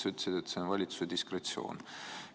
Sa ütlesid, et see on valitsuse diskretsioon.